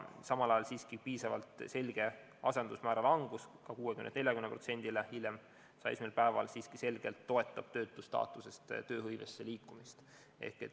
Samal ajal siiski piisavalt selge asendusmäära langus 60-lt 40%-ni hiljem ehk 101. päeval siiski selgelt toetab töötustaatusest tööhõivesse liikumist.